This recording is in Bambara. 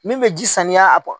Min bɛ ji saniya a